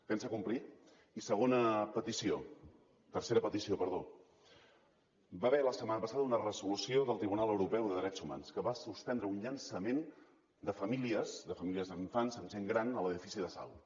pensa complir i tercera petició hi va haver la setmana passada una resolució del tribunal europeu de drets humans que va suspendre un llançament de famílies de famílies amb infants amb gent gran a l’edifici de salt